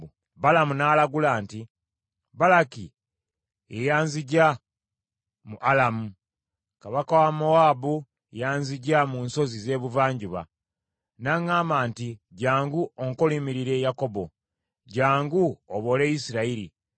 Balamu n’alagula nti, “Balaki ye yanzigya mu Alamu, kabaka wa Mowaabu yanzigya mu nsozi z’ebuvanjuba. N’aŋŋamba nti, ‘Jjangu onkolimiririre Yakobo; jjangu oboole Isirayiri.’